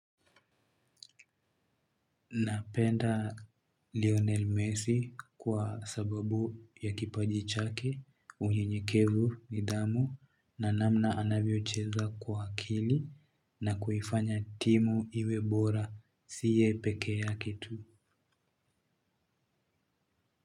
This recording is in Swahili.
Napenda Lionel Messi kwa sababu ya kipaji chake unyenyekevu ni damu na namna anavyocheza kwa akili na kuifanya timu iwe bora si yeye pekee yake tu.